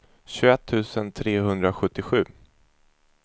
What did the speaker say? tjugoett tusen trehundrasjuttiosju